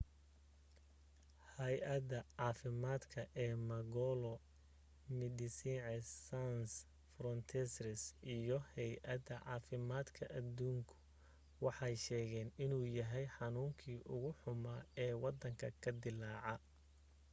haayadda caafimaad ee mangola medecines sans frontieres iyo haayadda caafimaadka aduunku waxay sheegeen inuu yahay xanuunkii ugu xumaa ee waddanka ka dillaaca